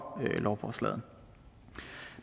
lovforslaget